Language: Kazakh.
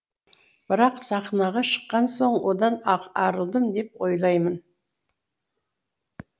бірақ сахнаға шыққан соң одан арылдым деп ойлаймын